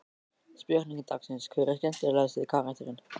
Spurning dagsins: Hver er skemmtilegasti karakterinn?